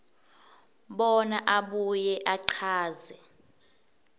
bona abuye achaze